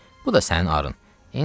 Qızım, bu da sənin arın.